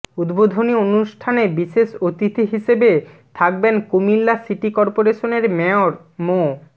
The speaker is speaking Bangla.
উদ্বোধনী অনুষ্ঠানে বিশেষ অতিথি হিসেবে থাকবেন কুমিল্লা সিটি কর্পোরেশনের মেয়র মো